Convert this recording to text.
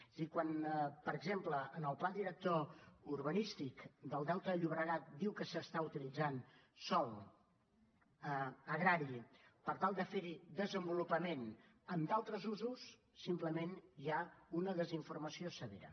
és a dir quan per exemple en el pla director urbanístic del delta del llobregat diu que s’està utilitzant sòl agrari per tal de ferhi desenvolupament en d’altres usos simplement hi ha una desinformació severa